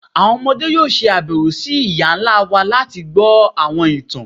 Àwọn ọmọde yóò ṣabẹwo sí iyá ńlá wá lati gbọ awọn ìtàn.